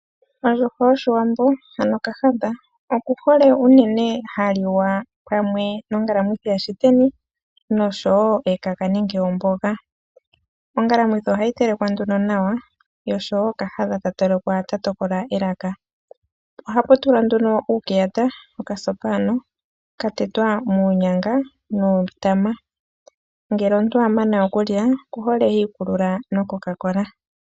Ondjuhwa yoshiwambo ano kahadha ,okuhole unene ha liwa pamwe nongalamwithi yaShiteni noshowo ekaka nenge omboga . Ongalamwithi oha yi telekwa nduno nawa oshowo kahadha ta telekwa ta tokola elaka. Ohapu tulwa nduno uukeyata, okasopa ka tetelwa uunyanga nuutama. Ngele omuntu a mana okulya okuhole ha nu oCoca-Cola.